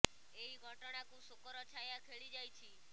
ଏହି ଘଟଣା କୁ ଶୋକ ର ଛାୟା ଖେଳି ଯାଇଛି